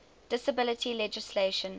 disability legislation